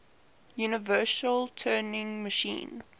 universal turing machine